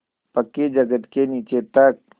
पक्की जगत के नीचे तक